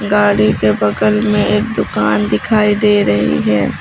गाड़ी के बगल में एक दुकान दिखाई दे रही है।